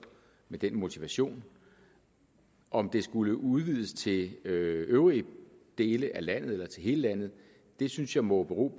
med den motivation om det skulle udvides til øvrige dele af landet eller til hele landet synes jeg må bero